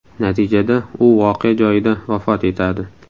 Natijada u voqea joyida vafot etadi.